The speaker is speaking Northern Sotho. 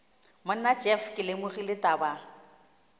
monna jeff ke lemogile taba